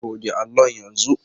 Goge allon yanzu.